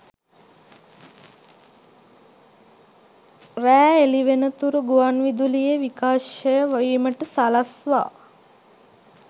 රෑ එළිවෙනතුරු ගුවන් විදුලියේ විකාශය වීමට සලස්වා